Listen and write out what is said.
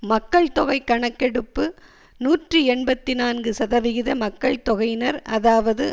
மக்கள்தொகை கணக்கெடுப்பு நூற்றி எண்பத்தி நான்கு சதவிகித மக்கள் தொகையினர் அதாவது